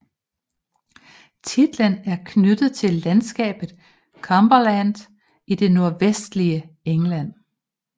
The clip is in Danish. Titlen er knyttet til landskabet Cumberland i det nordvestlige England